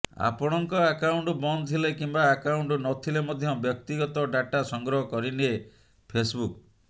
ଆପଣଙ୍କ ଆକାଉଣ୍ଟ ବନ୍ଦ ଥିଲେ କିମ୍ବା ଆକାଉଣ୍ଟ ନ ଥିଲେ ମଧ୍ୟ ବ୍ୟକ୍ତଗତ ଡ଼ାଟା ସଂଗ୍ରହ କରିନିଏ ଫେସ୍ବୁକ୍